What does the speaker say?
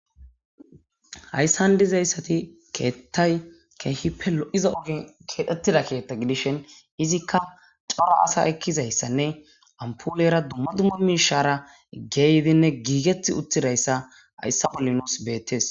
Hayssan dizayssati keettay keehippe lo'za ogin keedhettida keetta gidishen izikka cora asa ekkizayssanne ampulera dumma dumma mishara geydinne giigeti uttidayssa hayssa bolli nuus beettes